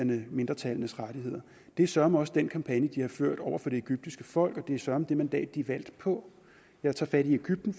mindretallenes rettigheder det er søreme også den kampagne de har ført over for det egyptiske folk og det er søreme det mandat de er valgt på jeg tager fat i egypten